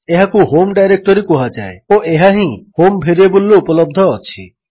ଏହାକୁ home directory କୁହାଯାଏ ଓ ଏହା ହିଁ ହୋମ୍ ଭେରିଏବଲ୍ରେ ଉପଲବ୍ଧ ଅଛି